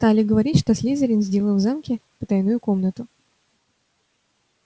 стали говорить что слизерин сделал в замке потайную комнату